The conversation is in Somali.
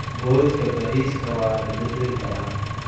Boodhka bariiska waa la bedeli karaa.